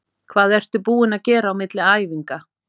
Hvað ertu búinn að gera á milli æfinga?